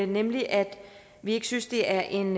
nemlig at vi ikke synes det er en